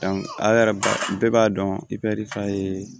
a yɛrɛ ba bɛɛ b'a dɔn i bɛ de f'a ye